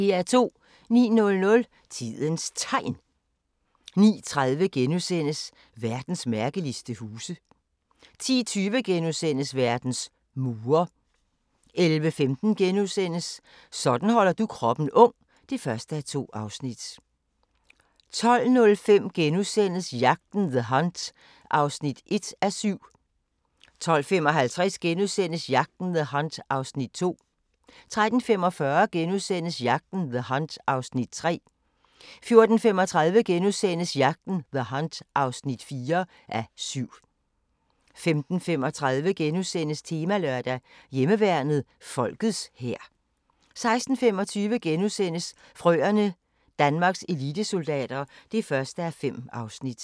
09:00: Tidens Tegn 09:30: Verdens mærkeligste huse * 10:20: Verdens mure * 11:15: Sådan holder du kroppen ung (1:2)* 12:05: Jagten – The Hunt (1:7)* 12:55: Jagten – The Hunt (2:7)* 13:45: Jagten – The Hunt (3:7)* 14:35: Jagten – The Hunt (4:7)* 15:35: Temalørdag: Hjemmeværnet – Folkets hær * 16:25: Frøerne – Danmarks elitesoldater (1:5)*